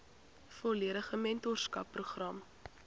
volledige mentorskap program